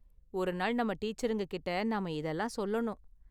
ஒரு நாள் நம்ம டீச்சருங்க கிட்ட நாம இதெல்லாம் சொல்லணும்.